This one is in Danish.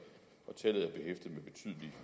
ting